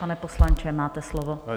Pane poslanče, máte slovo.